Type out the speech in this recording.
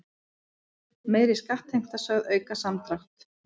Meiri skattheimta sögð auka samdrátt